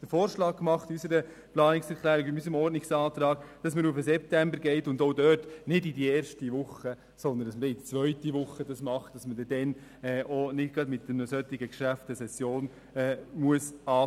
Unsere Fraktion ist heute Morgen zum Schluss gekommen, dass es nicht gut wäre, die erste Session der neuen Legislaturperiode mit diesem Geschäft zu belasten.